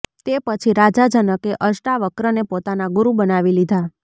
તે પછી રાજા જનકે અષ્ટાવક્રને પોતાના ગુરુ બનાવી લીધાં